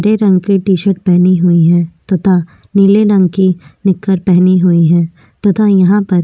दे रंग के T shirt पहने हुई है तथा नीले रंग की निक्कर पहनी हुई है तथा यहाँ पर --